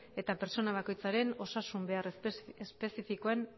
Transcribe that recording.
eta pertsona bakoitzaren osasun behar espezifikoen